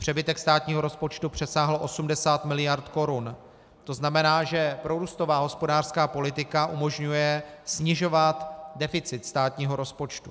Přebytek státního rozpočtu přesáhl 80 miliard korun, to znamená, že prorůstová hospodářská politika umožňuje snižovat deficit státního rozpočtu.